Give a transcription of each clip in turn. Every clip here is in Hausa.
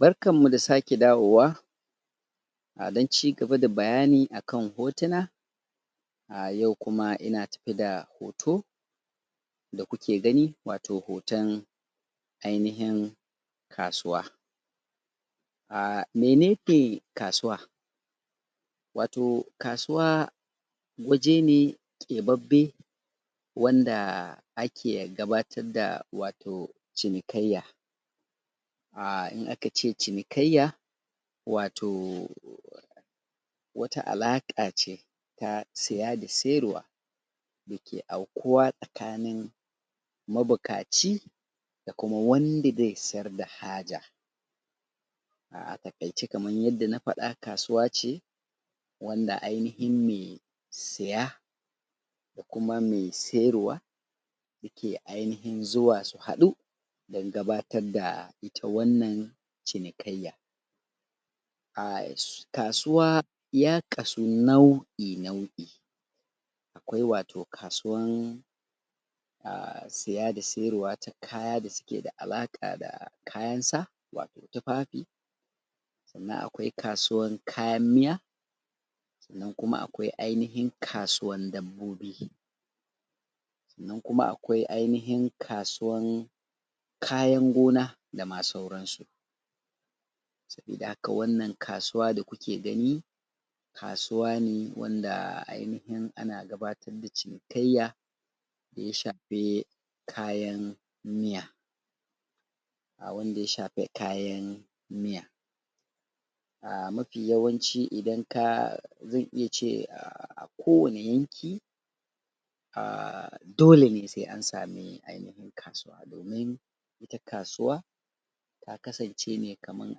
Barkanmu da sake dawowa don cigaba da bayani akan hotuna aa yau kuma ina tafe da hoto da ku ke gani, wato hoton ainihin kasuwa aa mene ne kasuwa? Wato kasuwa waje ne ƙebabbe wanda ake gabatar da wato cinikayya aa in aka ce cinikayya wato wata alaƙa ce ta siya da siyarwa da ke aukuwa tsakanin mabuƙaci da kuma wanda zai siyar da haja aa taƙaice kamar yadda na faɗa kasuwa ce wanda ainihin me siya da kuma me siyarwa suke ainihin zuwa su haɗu don gabatar da ita wannan cinikayya aa kasuwa ya kasu nau’i nau’i akwai wato kasuwan aa siya da siyarwa na kayan da suke da alaƙa da kayan sa wato tufafi, sannan akwai kasuwan kayan miya sannan akwai kuma ainihin kasuwan dabbobi sannan akwai kuma ainihin kasuwan kayan gona da ma sauransu sabida haka wannan kasuwa da ku ke gani kasuwa ne wanda anihin ana gabatar da cinikayya da ya shafe kayan miya a wanda ya shafi kayan miya aa mafi yawanci idan ka zan iya ce a ko wane yanki aa dole ne sai an sami ainihin kasuwa domin ita kasuwa ta kasance ne kamar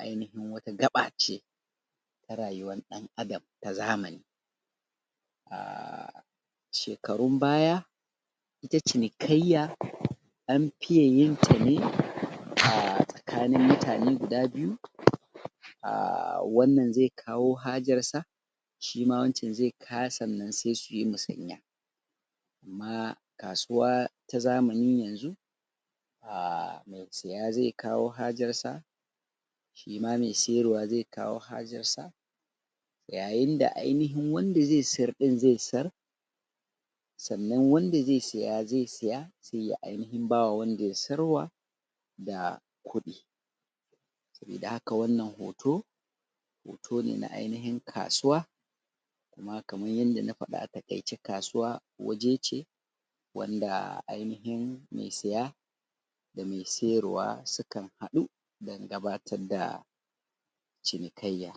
ainihin wata gaɓa ce ta rayuwar ɗan adam ta zamani aa shekarun baya ita cinikayya an fiye yin ta ne a tsakanin mutane guda biyu aa wannan zai kawo hajarsa, shima wancan zai kawo sannan sai su yi musanya ma kasuwa ta zamanin yanzu a me siya zai kawo hajarsa shima mai siyarwa zai kawo hajarsa yayin da ainihin wanda zai siyar ɗin zai siyar, sannan wanda zai siya zai siya, sai ya ainihin bawa wanda ya siyarwa da kuɗi sabida haka wannan hoto hoto ne na ainihin kasuwa amma kamar yadda na faɗa a takaice, kasuwa waje ce wanda ainihin me siya da me siyarwa sukan haɗu don gabatar da cinikayya